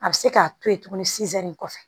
A bɛ se k'a to yen tuguni nin kɔfɛ